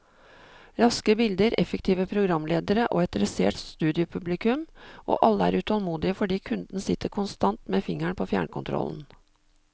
Raske bilder, effektive programledere og et dressert studiopublikum, og alle er utålmodige fordi kunden sitter konstant med fingeren på fjernkontrollen.